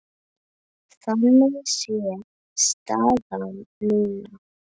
Þannig sé staðan núna.